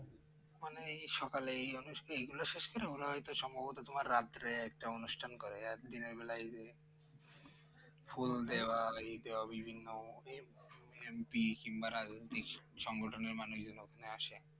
মানে এই সকালে মানুষকে এগুলো শেষ করে মনে হয়তো সম্ভবত তোমার রাত্রে একটা অনুষ্ঠান করে আর দিনে বেলায় ফুল দেওয়া ওই দেওয়া বিভিন্ন এই MP কিংবা রাজনৈতিক সংগঠনের মানে বিভিন্ন ওখানে আসে